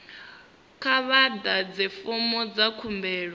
kha vha ḓadze fomo dza khumbelo